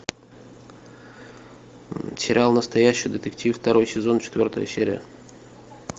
сериал настоящий детектив второй сезон четвертая серия